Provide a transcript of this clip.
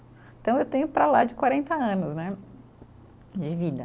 Então, eu tenho para lá de quarenta anos né, de vida.